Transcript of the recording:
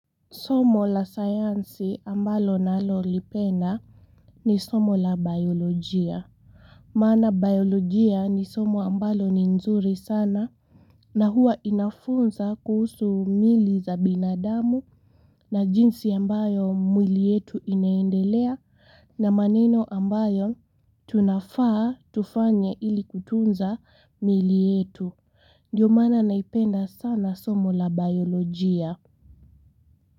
Somo la sayansi ambalo nalolipenda ni somo la biolojia maana biolojia ni somo ambalo ni nzuri sana na huwa inafunza kuhusu mili za binadamu na jinsi ambayo mwili yetu inaendelea na maneno ambayo tunafaa tufanya ili kutunza mili yetu Ndiyo maana naipenda sana somo la biolojia.